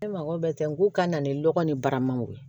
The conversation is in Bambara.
Ne mako bɛ n ko ka na ni lɔgɔ ni baraman ye